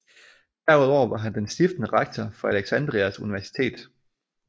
Derudover var han den stiftende rektor for Alexandrias Universitet